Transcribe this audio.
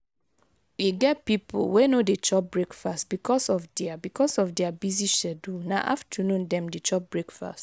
e get pipo wey no dey chop breakfast because of their because of their busy schedule na afternoon dem dey chop breakfast